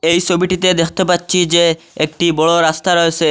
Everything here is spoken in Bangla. এই সবিটিতে দেখতে পাচ্ছি যে একটি বড় রাস্তা রয়েসে।